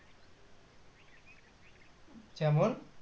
যেমন